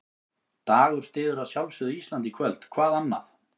Dagur styður að sjálfsögðu Ísland í kvöld, hvað annað?